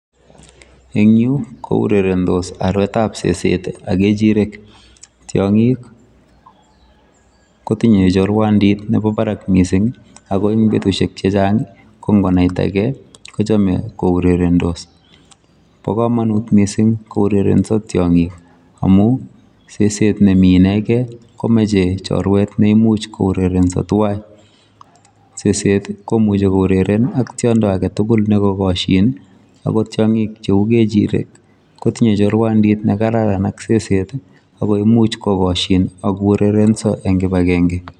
Eng Yuu ko urerendos arwet ab seset ii ak ngechirek tiangiik ko tinye choruandiit nebo barak missing ii ako eng betusiek che chaang ko ngonai tagei kochame kourendorendos ,bo kamanut missing kourerensaa tiangiik amuun seset nemii inegeen ii komachei chorweet neimuuch ko urerensaa tuan ,seset ii komuchei koureren ii ak tiandi age tugul neka kashin ii ak ko kechireek ii kotinyei choruandit ne kararan ak seset ii ako imuuch kokashiin ak ko ureren eng kibagengei.